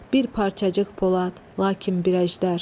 Bir parçacıq polad, lakin bir əjdər.